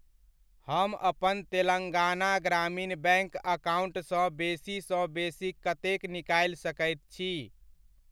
हम अपन तेलंगाना ग्रामीण बैङ्क अकाउण्टसँ बेसी सँ बेसी कतेक निकालि सकैत छी?